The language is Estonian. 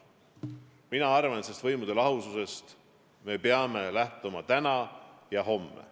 Mina arvan, et võimude lahususest me peame lähtuma täna ja homme.